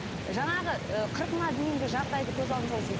жаңағы ы қырқына дейінгі жағдайды көз алдымызға